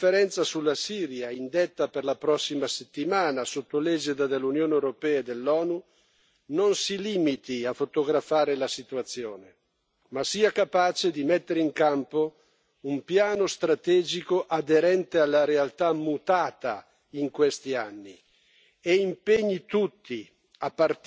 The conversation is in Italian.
Per questo mi auguro e spero che la conferenza sulla Siria, indetta per la prossima settimana sotto l'egida dell'Unione europea e dell'ONU, non si limiti a fotografare la situazione ma sia capace di mettere in campo un piano strategico aderente alla realtà mutata in questi anni